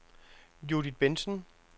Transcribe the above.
Judith Bentzen